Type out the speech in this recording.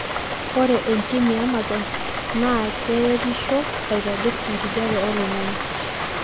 ore entim eamazon na keretisho aitobir enkijape oloingangi